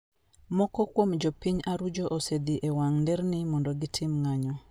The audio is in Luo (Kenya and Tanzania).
Moko kuom jo piny Arujo osedhi e wang'a nderni mondo gitim ng'anyo